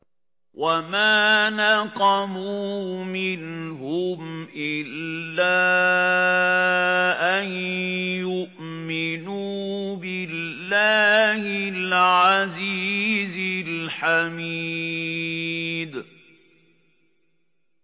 وَمَا نَقَمُوا مِنْهُمْ إِلَّا أَن يُؤْمِنُوا بِاللَّهِ الْعَزِيزِ الْحَمِيدِ